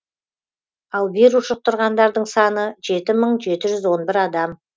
ал вирус жұқтырғандардың саны жеті мың жеті жүз он бір адам